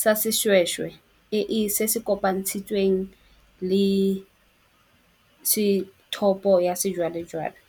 sa seshweshwe e e se se kopantshitsweng le sethopo ya sejwalejwale.